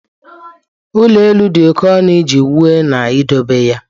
ụlọ elu dị oke ọnụ iji wuo na idobe ya.